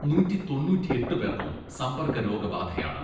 നൂറ്റി തൊണ്ണൂറ്റിയെട്ട് പേർക്കും സമ്പർക്ക രോഗബാധയാണ്.